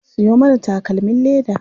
Siyo mana takalmin leda.